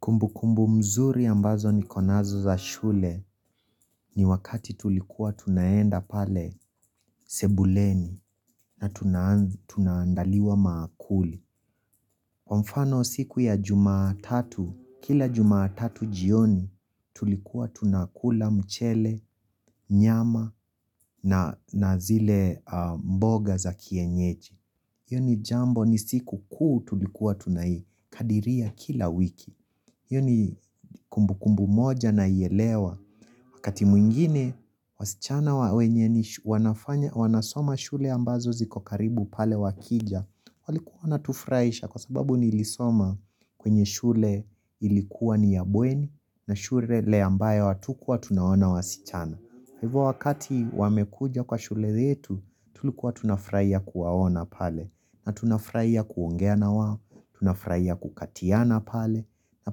Kumbu kumbu mzuri ambazo ni konazo za shule ni wakati tulikuwa tunaenda pale sebuleni na tunaandaliwa maakuli. Kwa mfano siku ya jumatatu, kila jumatatu jioni tulikuwa tunakula mchele, nyama na na zile mboga za kienyeji. Yoni jambo ni siku kuu tulikuwa tunai kadiria kila wiki. Iyo ni kumbu kumbu moja naielewa. Wakati mwingine, wasichana wa wenye ni wanasoma shule ambazo zikokaribu pale wakija. Walikuwa wanatufurahisha kwa sababu nilisoma kwenye shule ilikuwa ni ya bweni na shule le ambaye watukua tunaona wasichana. Hivo wakati wamekuja kwa shule yetu, tulikuwa tunafuraia kuwaona pale. Na tunafuraia kuongea na wao tunafuraia kukatiana pale. Na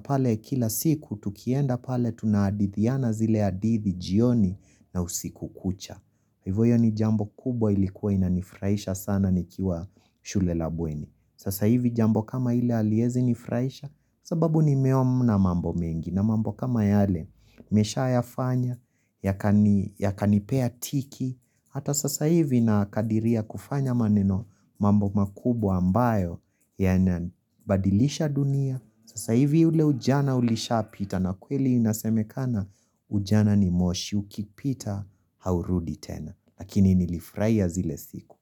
pale kila siku tukienda pale tunaadithiana zile adithi jioni na usiku kucha. Hivo hiyo ni jambo kubwa ilikuwa inanifuraisha sana nikiwa shule labweni. Sasa hivi jambo kama ile haliezi nifuraisha sababu ni meomna mambo mengi. Na mambo kama yale, nimesha yafanya, ya kanipea tiki. Hata sasa hivi na kadiria kufanya maneno mambo makubwa ambayo yanabadilisha dunia. Sasaivi ule ujana ulisha pita na kweli inaseme kana ujana ni moshi uki pita haurudi tena. Lakini nilifraia zile siku.